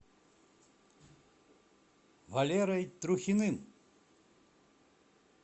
валерой трухиным